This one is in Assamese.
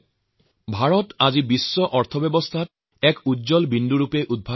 বিশ্ব অৰ্থনীতিতে ভাৰতৰ অৱস্থান এক উজ্জ্বল নক্ষত্ৰৰ দৰে